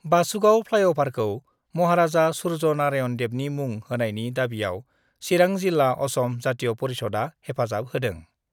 बासुगाव फ्लाइअभारखौ महाराजा सुर्य नारायन देवनि मुं होनायनि दाबियाव चिरां जिल्ला असम जातीय परिषदआ हेफाजाब होदों